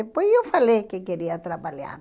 Depois eu falei que queria trabalhar.